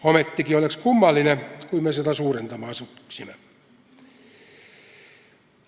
Ometigi oleks kummaline, kui me seda suurendama asuksime.